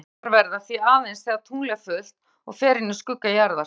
Tunglmyrkvar verða því aðeins þegar tungl er fullt og fer inn í skugga jarðar.